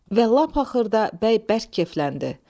Və lap axırda bəy bərk keyfləndi.